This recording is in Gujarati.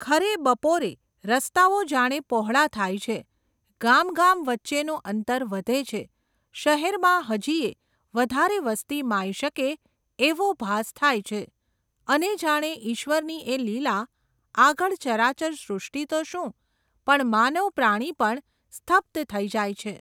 ખરે બપોરે, રસ્તાઓ જાણે પહોળા થાય છે, ગામ ગામ વચ્ચેનું અંતર વધે છે, શહેરમાં હજીયે, વધારે વસ્તી માઈ શકે, એવો ભાસ થાય છે, અને જાણે ઈશ્વરની એ લીલા, આગળ ચરાચર સૃષ્ટિ તો શું, પણ માનવ પ્રાણી પણ, સ્તબ્ધ થઈ જાય છે.